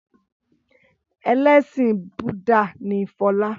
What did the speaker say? Ẹlẹ́sìn Búdà ni Fọlá.